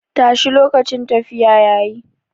Tashi lokacin tafiya yayi.